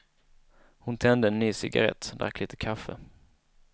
Hon tände en ny cigarrett, drack litet kaffe.